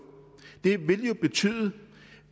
vil jo betyde